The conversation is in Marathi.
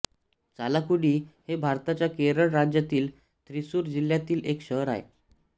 चालाकुडी हे भारताच्या केरळ राज्यातील थ्रिसुर जिल्ह्यातील एक शहर आहे